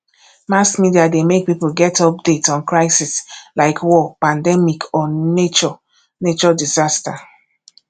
mass media de make pipo get update on crisis like war pandemic or nature nature disaster